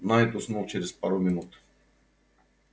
найд уснул через пару минут